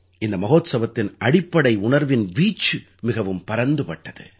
இந்த மஹோத்ஸவத்தின் அடிப்படை உணர்வின் வீச்சு மிகவும் பரந்துபட்டது